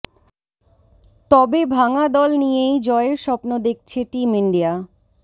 তবে ভাঙা দল নিয়েই জয়ের স্বপ্ন দেখছে টিম ইন্ডিয়া